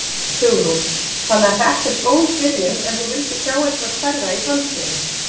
Hugrún: Þannig að þetta er góð byrjun en þú vildir sjá eitthvað stærra í framtíðinni?